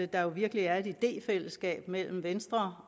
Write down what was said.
der virkelig er et idéfællesskab mellem venstre